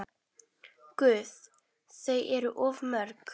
Guð, þau eru of mörg.